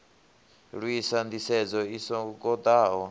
lwisa nḓisedzo i so ngoḓaho